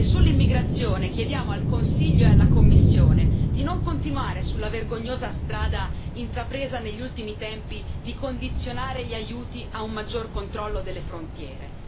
Sull'immigrazione chiediamo al Consiglio e alla Commissione di non continuare sulla vergognosa strada, intrapresa negli ultimi tempi, di condizionare gli aiuti a un maggior controllo delle frontiere.